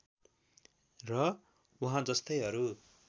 र उहाँजस्तै अरू